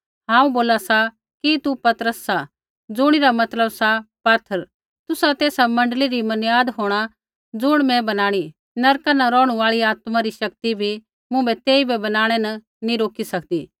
हांऊँ बोला सा कि तू पतरस सा ज़ुणी रा मतलब सा पाथर तुसा तेसा मण्डली री मनियाद होंणा ज़ुण मूँ बनाणी नरका न रौहणु आल़ी आत्मा री शक्ति बी मुँभै तेइबै बनाणै न नैंई रोकी सकदी